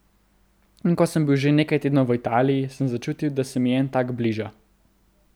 In ko sem bil že nekaj tednov v Italiji, sem začutil, da se mi en tak bliža.